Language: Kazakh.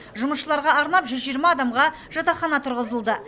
жұмысшыларға арнап жүз жиырма адамға жатақхана тұрғызылды